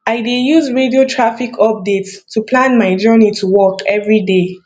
i dey use radio traffic updates to plan my journey to work every day